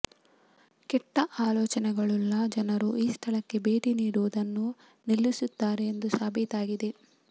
ಕೆಟ್ಟ ಆಲೋಚನೆಗಳುಳ್ಳ ಜನರು ಈ ಸ್ಥಳಕ್ಕೆ ಭೇಟಿ ನೀಡುವುದನ್ನು ನಿಲ್ಲಿಸುತ್ತಾರೆ ಎಂದು ಸಾಬೀತಾಗಿದೆ